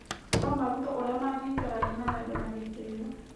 No marutwo ũrĩa mangĩikarania na wendo na gĩtĩo.